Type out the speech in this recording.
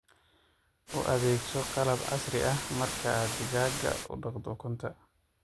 U adeegso qalab casri ah marka aad digaagga u dhaqdo ukunta.